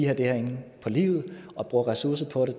har det her inde på livet og bruger ressourcer på det